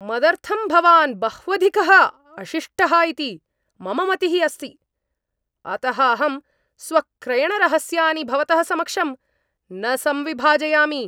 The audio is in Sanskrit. मदर्थं भवान् बह्वधिकः अशिष्टः इति मम मतिः अस्ति, अतः अहं स्वक्रयणरहस्यानि भवतः समक्षं न संविभाजयामि।